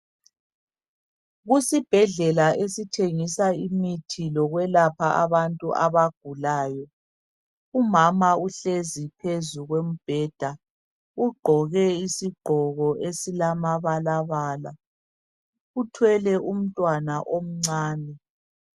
Kusibhedlela esithengisa imithi lokwelapha abantu abagulayo umama uhlezi phezu kombheda ugqoke isigqoko esilamabalabala .Uthwele umntwana omncane